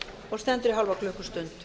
og stendur í hálfa klukkustund